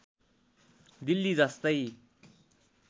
दिल्ली जस्तै